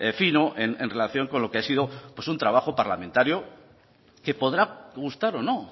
fino en relación con lo que ha sido un trabajo parlamentario que podrá gustar o no